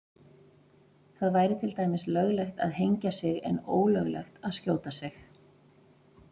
Það væri til dæmis löglegt að hengja sig en ólöglegt að skjóta sig.